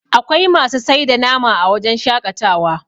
akwai masu sai da nam a wajen shaƙatawa